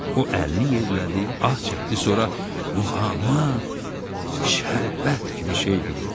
O əlini yerlədi, ah çəkdi, sonra muğamat şərbət kimi şeydir dedi.